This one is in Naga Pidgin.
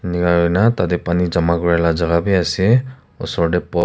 tarte pani jama kori laga jagah bhi ase usor te--